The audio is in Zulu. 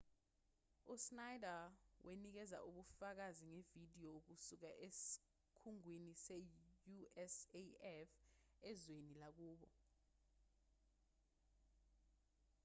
u-schneider wanikeza ubufakazi ngevidiyo kusuka esikhungweni se-usaf ezweni lakubo